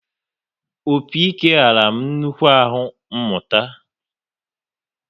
Opi-ike ghara m nnukwu ahụ mụta